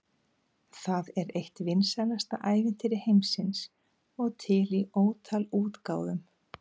Það er eitt vinsælasta ævintýri heimsins og til í ótal útgáfum.